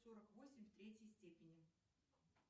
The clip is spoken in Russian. сорок восемь в третьей степени